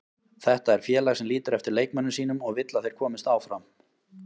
Þetta er félag sem lítur eftir leikmönnum sínum og vill að þeir komist áfram.